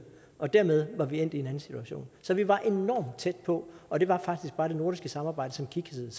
og dermed var vi endt i anden situation så vi var enormt tæt på og det var faktisk bare det nordiske samarbejde som kiksede